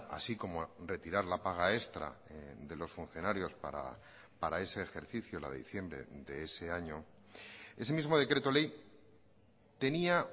así como retirar la paga extra de los funcionarios para ese ejercicio la de diciembre de ese año ese mismo decreto ley tenía